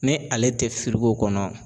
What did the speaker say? Ni ale tɛ kɔnɔ.